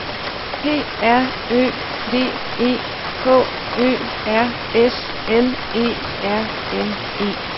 P R Ø V E K Ø R S L E R N E